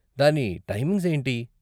దాని టైమింగ్స్ ఏంటి?